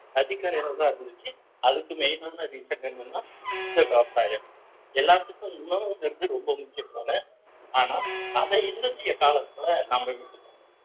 அதிக நேரம்தான் இருந்துச்சு அதுக்கு main ஆன reason என்னன்னா இந்த விவசாயம் எல்லாத்துக்கும் உணவுங்கிறது ரொம்ப முக்கியம்தான ஆனா அத இன்னைய காலத்துல நாம